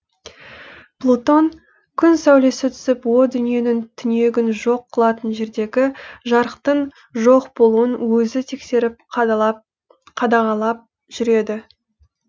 плутон күн сәулесі түсіп о дүниенің түнегін жоқ қылатын жердегі жарықтың жоқ болуын өзі тексеріп қадағалап жүреді